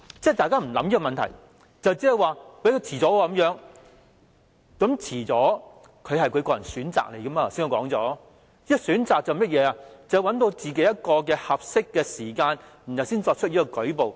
大家沒有考慮這個問題，只是說有人會推遲，但我剛才也說過，延遲也是他們的個人選擇，因為要選擇一個合適時間才作出舉報。